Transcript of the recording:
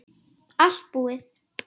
Allt búið